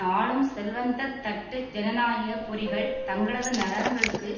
ஆளும் செல்வந்த தட்டு ஜனநாயக பொறிகள் தங்களது நலன்களுக்கு